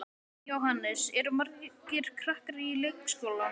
Jóhannes: Eru margir krakkar í leikskólanum?